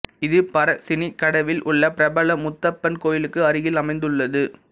இது பரசினிகடவில் உள்ள பிரபல முத்தப்பன் கோயிலுக்கு அருகில் அமைந்துள்ளது